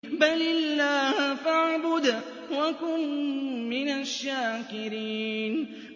بَلِ اللَّهَ فَاعْبُدْ وَكُن مِّنَ الشَّاكِرِينَ